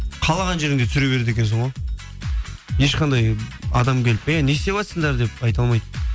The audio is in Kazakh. қалаған жеріңде түсіре береді екенсің ғой ешқандай адам келіп ей не ісетватсыңдар деп айта алмайды